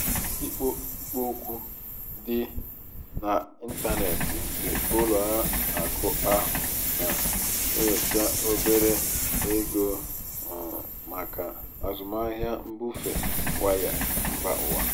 ikpo ikpo okwu dị n'ịntanetị nke ụlọ akụ ahụ na-enyocha obere um ego um maka azụmahịa mbufe waya mba ụwa.